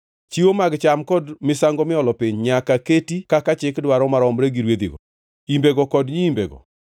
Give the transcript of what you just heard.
Chiwo mag cham kod misango miolo piny nyaka keti kaka chik dwaro maromre gi rwedhigo, imbego kod nyiimbego.